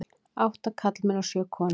Átta karlmenn og sjö konur.